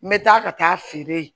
N bɛ taa ka taa a feere yen